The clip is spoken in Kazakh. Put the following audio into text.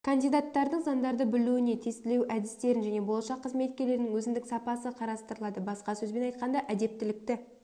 кандидаттардың заңдарды білуіне тестілеу әдістерін және болашақ қызметкерлердің өзіндік сапасы қарастырылады басқа сөзбен айтқанда әдептілікті